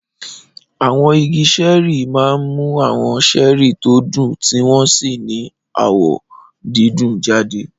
Àwọn igi ṣẹ́ẹ́rì máa ń mú àwọn ṣẹ́rì tí ó dùn tí wọ́n sì ní àwọ̀ dídùn jáde.